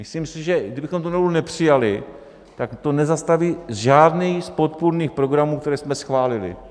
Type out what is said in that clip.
Myslím si, že kdybychom tu novelu nepřijali, tak to nezastaví žádný z podpůrných programů, které jsme schválili.